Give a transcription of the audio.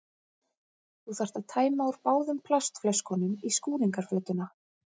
Þú þarft að tæma úr báðum plastflöskunum í skúringafötuna.